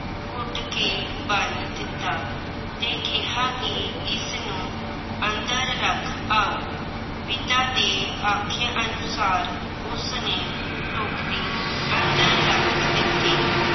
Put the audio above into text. ਘੁੱਟ ਕੇ ਬੰਨ ਦਿੱਤਾ ਤੇ ਕਿਹਾ ਕਿ ਇਸਨੂੰ ਅੰਦਰ ਰੱਖ ਆਓ। ਪਿਤਾ ਦੇ ਆਖੇ ਅਨੁਸਾਰ ਉਸਨੇ ਟੋਕਰੀ ਅੰਦਰ ਰੱਖ ਦਿੱਤੀ।